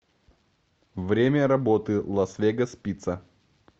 время работы лас вегас пицца